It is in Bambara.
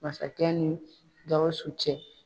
Masakɛ ni GAWUSU cɛ.